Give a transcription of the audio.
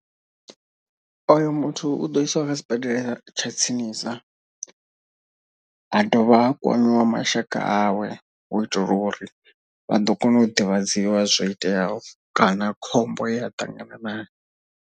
Oyo muthu u ḓo isiwa kha sibadela tsha tsinisa. Ha dovha ha kwamiwa mashaka awe u itela uri vha ḓo kona u ḓivhadziwa zwoiteaho kana khombo yea a ṱanganana nayo.